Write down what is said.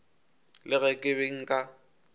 le ge ke be nka